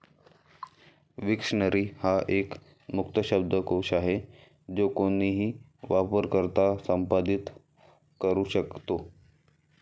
Wiktionary हा एक मुक्त शब्दकोश आहे जो कोणीही वापरकर्ता संपादित करू शकतो.